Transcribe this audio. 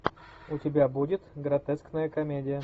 у тебя будет гротескная комедия